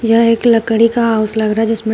यह एक लकड़ी का हाउस लग रहा है जिसमें--